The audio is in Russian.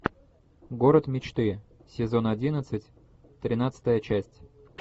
город мечты сезон одиннадцать тринадцатая часть